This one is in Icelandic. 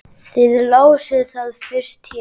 Þið lásuð það fyrst hér!